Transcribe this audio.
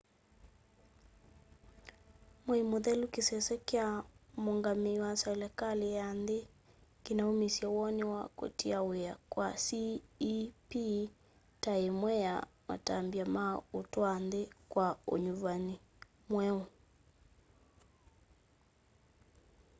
mwei mũthelu kĩsese kya muungamii wa selikali ya nthi kinaumisye woni wa kũtia wia kwa cep ta imwe ya matambya ma utwaa nthi kwa unyuvani mweu